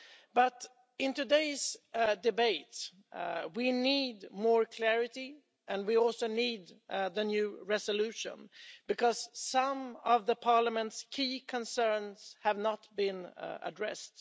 But in today's debate we need more clarity and we also need the new resolution, because some of Parliament's key concerns have not been addressed.